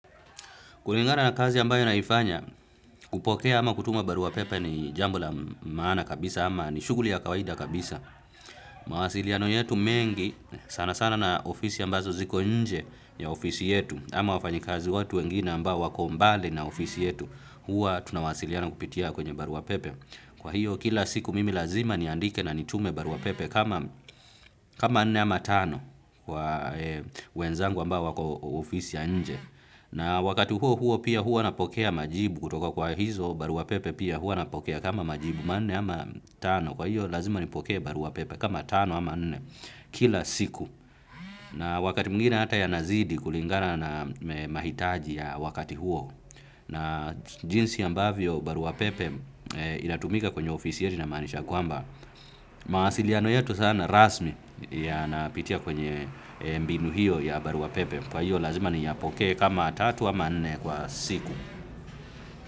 Kulingana na kazi ambayo naifanya, kupokea ama kutuma barua pepe ni jambo la maana kabisa ama ni shughuli ya kawaida kabisa. Mawasiliano yetu mengi sana sana na ofisi ambazo ziko nje ya ofisi yetu ama wafanyikazi watu wengine ambao wako mbali na ofisi yetu huwa tunawasiliana kupitia kwenye barua pepe. Kwa hiyo kila siku mimi lazima niandike na nitume barua pepe kama nne ama tano wenzangu ambao wako ofisi ya nje. Na wakati huo huo pia huwa napokea majibu kutoka kwa hizo barua pepe pia huwa kama majibu manne ama tano kwa hiyo lazima nipokee baruapepe kama tano ama nne kila siku. Na wakati mwingine hata yanazidi kulingana na mahitaji ya wakati huo na jinsi ambavyo baruapepe inatumika kwenye ofisi yetu inamaanisha kwamba. Mawasiliano yetu sana rasmi yanapitia kwenye mbinu hiyo ya barua pepe. Kwa hiyo lazima niyapokee kama tatu wa manne kwa siku.